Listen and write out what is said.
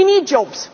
still not out of